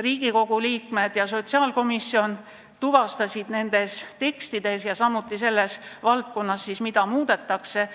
Riigikogu liikmete ja ka sotsiaalkomisjoni arvates oli vaja teha nendes tekstides ja selles valdkonnas, mida muudetakse.